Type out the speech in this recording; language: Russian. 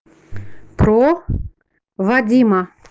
про вадима